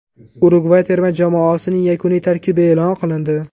Urugvay terma jamoasining yakuniy tarkibi e’lon qilindi.